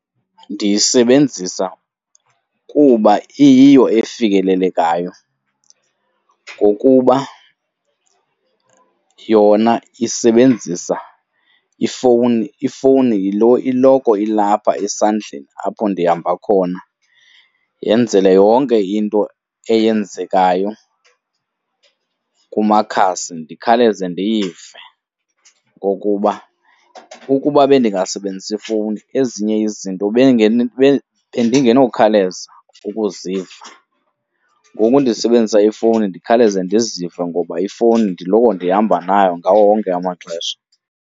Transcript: Ndiyisebenzisa kuba iyiyo efikelelekayo, ngokuba yona isebenzisa ifowuni. Ifowuni yilo iloko ilapha esandleni apho ndihamba khona, yenzele yonke into eyenzekayo kumakhasi ndikhawuleze ndiyive. Ngokuba ukuba bendingasebenzisi ifowuni ezinye izinto bendingenokhawuleza ukuziva, ngoku ndisebenzisa ifowuni ndikhawuleze ndizive ngoba ifowuni ndiloko ndihamba nayo ngawo wonke amaxesha.